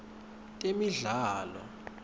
temidlalo